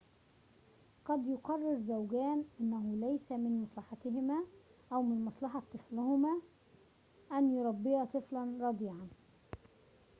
قد يقرر زوجان أنه ليس من مصلحتهما أو من مصلحة طفلهما أن يربيا طفلاً رضيعًا